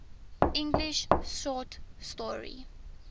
english short story